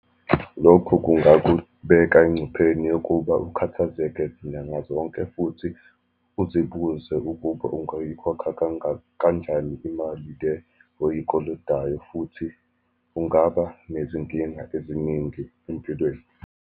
Lokhu kungakubeka engcupheni yokuba ukhathazeke zinyanga zonke, futhi uzibuze ukuba ungayikhokha kanjani imali le oyikolotayo. Futhi kungaba nezinkinga eziningi empilweni.